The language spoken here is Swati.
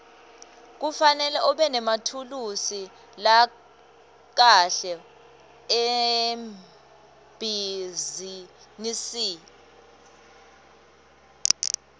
kufanele ubenemathulusi lakahle ebhizinisi